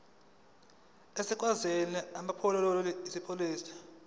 zesikhwama samaqembu ezepolitiki